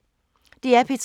DR P3